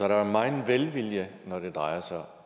der jo megen velvilje når det drejer sig om